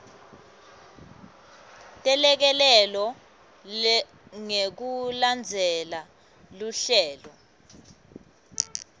telekelelo ngekulandzela luhlelo